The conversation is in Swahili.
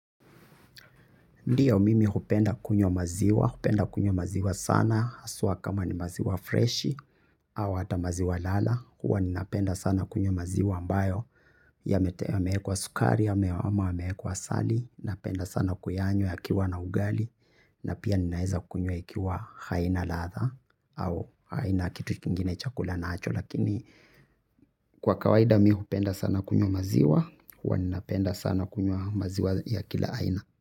Ndiyo mimi hupenda kunyws maziwa, hupenda kunywa maziwa sana, haswa kama ni maziwa freshi au hata maziwa lala, huwa ninapenda sana kunywa maziwa ambayo, yamewekwa sukari, ama yamewekwa asali, napenda sana kuyanywa yakiwa na ugali, na pia ninaeza kunywa ikiwa haina ladha, au haina kitu kingine chakula nacho, lakini kwa kawaida mimi hupenda sana kunywa maziwa, huwa ninapenda sana kunywa maziwa ya kila aina.